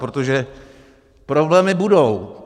Protože problémy budou.